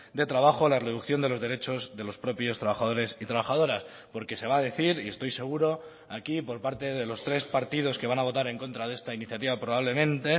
de trabajo la reducción de los derechos de los propios trabajadores y trabajadoras porque se va a decir y estoy seguro aquí por parte de los tres partidos que van a votar en contra de esta iniciativa probablemente